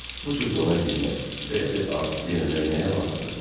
Bu cür də ona girmək, belə bir artistlik eləmək nəyə lazımdır?